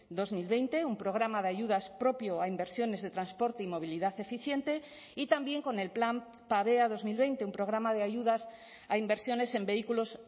dos mil veinte un programa de ayudas propio a inversiones de transporte y movilidad eficiente y también con el plan pavea dos mil veinte un programa de ayudas a inversiones en vehículos